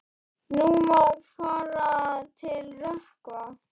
Nú má fara að rökkva.